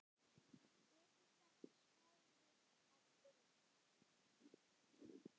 Egyptar skoruðu að vild.